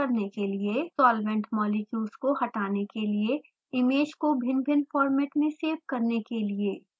solvent molecules को हटाने के लिए इमेज को भिन्नभिन्न फॉर्मेट में सेव करने के लिए